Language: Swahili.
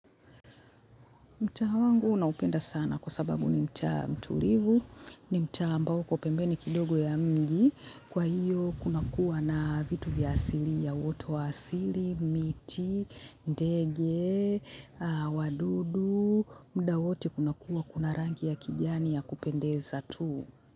Mtaa wangu naupenda sana kwa sababu ni mtaa mtulivu, ni mtaa ambao uko pembeni kidogo ya mji, kwa hiyo kuna kuwa na vitu vya asilia wote wa asili, miti, ndege, wadudu, muda wote kuna kuwa kuna rangi ya kijani ya kupendeza tu.